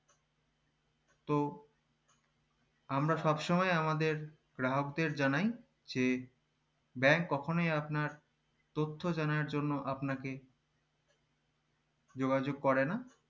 তো আমরা সবসময় আমাদের গ্রাহকদের জানাই যে bank কখোনই আপনার তথ্য জানানোর জন আপনাকে যোগযোগ করে না